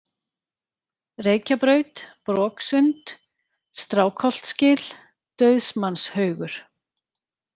Reykjabraut, Broksund, Strákholtsgil, Dauðsmannshaugur